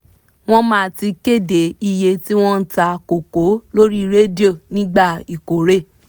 wọ́n má ti kéde iyé tí wọ́n ta koko lórí rédíò nígbà ìkórè